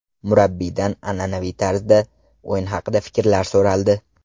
Murabbiydan an’anaviy tarzda o‘yin haqida fikrlari so‘raldi.